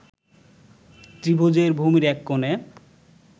ত্রিভৃজের ভূমির এক কোণে